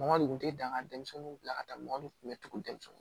Mɔgɔ de tun tɛ dan ka denmisɛnninw bila ka taa mɔgɔ de kun bɛ tugun denmisɛnnin